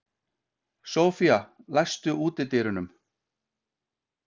Sophia, læstu útidyrunum.